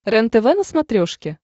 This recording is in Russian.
рентв на смотрешке